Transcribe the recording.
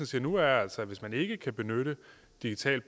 siger nu er altså at hvis man ikke kan benytte digital